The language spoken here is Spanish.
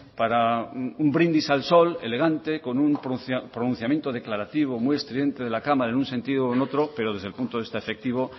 para un brindis al sol elegante con un pronunciamiento declarativo muy estridente de la cámara en un sentido u otro pero desde el punto de este afectivo